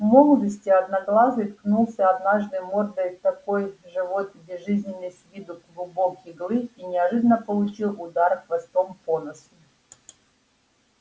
в молодости одноглазый ткнулся однажды мордой в такой же вот безжизненный с виду клубок иглы и неожиданно получил удар хвостом по носу